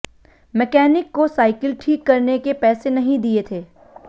mechanic को cycle ठीक करने के पैसे नहीं दिए थे